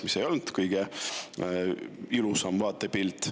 See ei olnud kõige ilusam vaatepilt.